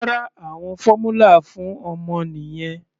Rárá, àwọn fórmula fún ọmọ nìyẹn.